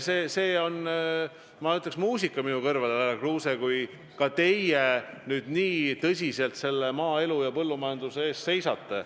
See on, ma ütleks, muusika minu kõrvadele, härra Kruuse, kui ka teie nüüd nii tõsiselt maaelu ja põllumajanduse eest seisate.